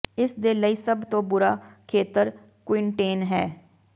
ਇਸ ਦੇ ਲਈ ਸਭ ਤੋਂ ਬੁਰਾ ਖੇਤਰ ਕੁਈਨਟੇਨ ਹੈ